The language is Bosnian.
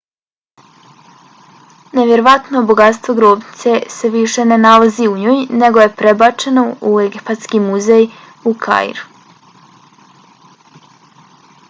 nevjerovatno bogatstvo grobnice se više ne nalazi u njoj nego je prebačeno u egipatski muzej u kairu